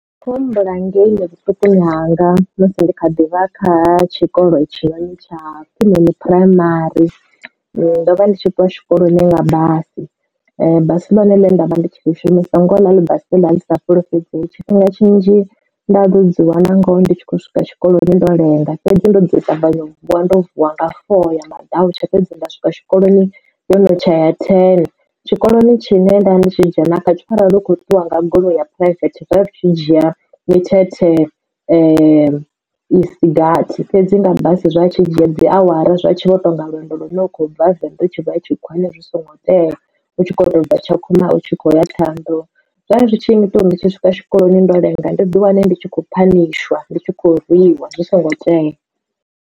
Kho humbula ngei ni vhuṱukuni hanga musi ndi kha ḓivha kha tshikolo tshiḽa tsha ndi phuraimari ndo vha ndi tshi ṱuwa tshikoloni nga basi. Basi ḽone ḽe nda vha ndi tshi ḽi shumisa ngo ḽi basi ḽi sa fulufhedzei, tshifhinga tshinzhi nda ḓo dziwana ngoho ndi tshi khou swika tshikoloni ndo lenga fhedzi ndo dzi tavhanya u vuwa ndo vuwa nga four ya maḓautsha fhedzi nda swika tshikoloni yo no tsha ya thene. Tshikoloni tshine nda ndi tshi dzhena kha tsho arali u kho ṱuwa nga goloi ya private zwa zwi tshi dzhia mithethe isi gathi fhedzi nga basi zwa tshi dzhia dzi awara zwa tshi vho to nga lwendo lune lwa khou bva venḓa u tshi khou ya tshikhuwani zwi songo tea u tshi kho to bva Tshakhuma u tshi khou ya Ṱhohoyandou zwa zwi tshi nnyita uri ndi tshi swika tshikoloni ndo lenga ndi ḓi wane ndi tshi kho phanishwa ndi tshi khou rwiwa zwi songo tea.